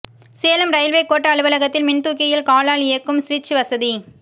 Salem railway கோட்ட அலுவலகத்தில் மின்தூக்கியில் காலால் இயக்கும் ஸ்விட்ச் வசதி